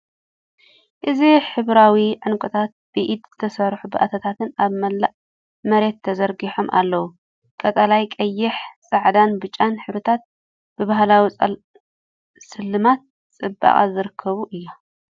እዚ ሕብራዊ ዕንቁታት ብኢድ ዝተሰርሑ ባእታታትን ኣብ መላእ መሬት ተዘርጊሖም ኣለዉ። ቀጠልያ፡ ቀይሕ፡ ጻዕዳን ብጫን ሕብርታት ብባህላዊ ስልማት ጽባቐ ዝርከቡ እዮም።